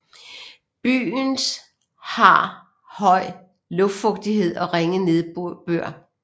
Byens har høj luftfugtighed og ringe nedbør